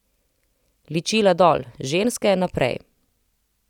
Ličila dol, ženske naprej!